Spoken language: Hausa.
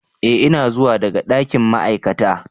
Ee ina zuwa daga dakin ma'aikata,